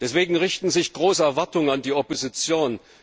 Deswegen richten sich große Erwartungen an die Opposition.